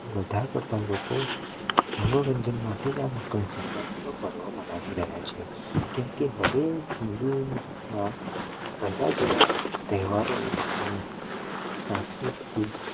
વધારે પડતા લોકો મનોરંજન માટે જ આ મકર સંક્રાંતિ નો પર્વ મનાવી રહ્યા છે કેમ કે હવે હિન્દૂઓ મા પેહલા જેવા તહેવારો ને સાસ્કુતિક